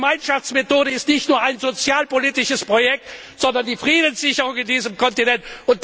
Die Gemeinschaftsmethode ist nicht nur ein sozialpolitisches Projekt, sondern die Friedenssicherung auf diesem Kontinent.